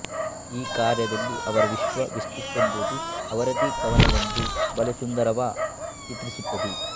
ಈ ಕಾರ್ಯದಲ್ಲಿ ಅವರ ವಿಶ್ವಾಸವೆಷ್ಟಿತ್ತೆಂಬುದನ್ನು ಅವರದೆ ಕವನವೊಂದು ಬಲು ಸುಂದರವಾ ಚಿತ್ರಿಸುತ್ತದೆ